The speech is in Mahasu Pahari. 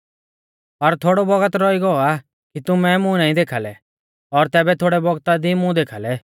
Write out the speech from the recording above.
और थोड़ौ बौगत रौई गौ आ कि तुमै मुं नाईं देखा लै और तैबै थोड़ै बौगता दी मुं देखाल़ै